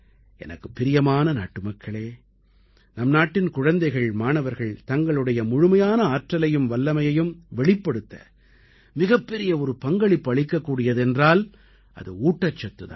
எனக்குப் பிரியமான நாட்டுமக்களே நம் நாட்டின் குழந்தைகள் மாணவர்கள் தங்களுடைய முழுமையான ஆற்றலையும் வல்லமையையும் வெளிப்படுத்த மிகப்பெரிய ஒரு பங்களிப்பு அளிக்கக்கூடியது என்றால் அது ஊட்டச்சத்து தான்